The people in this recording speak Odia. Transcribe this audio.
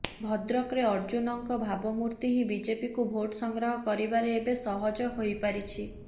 ଭଦ୍ରକରେ ଅର୍ଜୁନଙ୍କ ଭାବମୂର୍ତ୍ତି ହିଁ ବିଜେପିକୁ ଭୋଟ ସଂଗ୍ରହ କରିବାରେ ଏବେ ସହଜ ହୋଇପାରିଛି